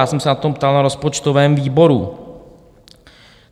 Já jsem se na to ptal na rozpočtovém výboru.